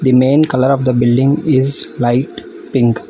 The main color of the building is light pink.